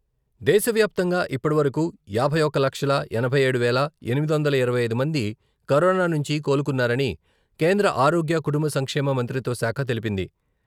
దేశవ్యాప్తంగా ఇప్పటి వరకు యాభై ఒక్క లక్షల ఎనభై ఏడు వేల ఎనిమిది వందల ఇరవై ఐదు మంది కరోనా నుంచి కోలుకున్నారని కేంద్ర ఆరోగ్య, కుటుంబ సంక్షేమ మంత్రిత్వశాఖ తెలిపింది.